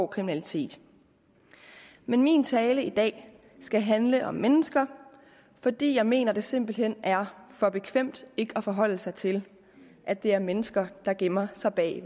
kriminalitet men min tale i dag skal handle om mennesker fordi jeg mener det simpelt hen er for bekvemt ikke at forholde sig til at det er mennesker der gemmer sig bag